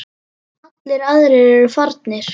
Allir aðrir eru farnir.